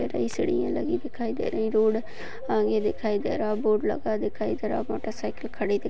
सलिया लगी दिखाई दे रही रोड आगे दिखाई दे रहा बोर्ड लगा दिखाई दे रहा मोटर साइकिल खड़ी दि --